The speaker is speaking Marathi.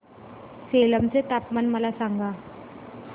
सेलम चे तापमान मला सांगा